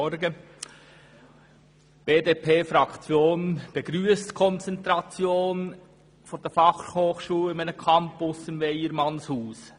Die BDP-Fraktion begrüsst die Konzentration der Fachhochschule auf einen Campus in Weyermannshaus.